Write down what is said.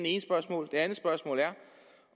ene spørgsmål det andet spørgsmål er